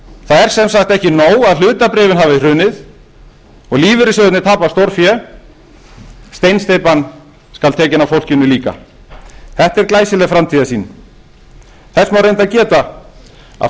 er sem sagt ekki nóg að hlutabréfin hafi hrunið og lífeyrissjóðirnir tapað stórfé steinsteypan skal tekin af fólkinu líka þetta er glæsileg framtíðarsýn þess má reyndar geta að